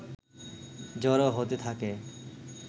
জড়ো হতে থাকে